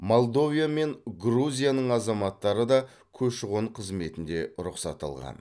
молдовия мен грузияның азаматтары да көші қон қызметінде рұқсат алған